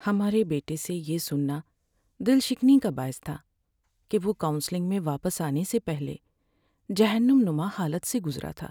ہمارے بیٹے سے یہ سننا دل شکنی کا باعث تھا کہ وہ کاونسلنگ میں واپس آنے سے پہلے جہنم نما حالت سے گزرا تھا۔